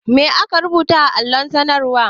Ma aka rubuta a allon sanarwar?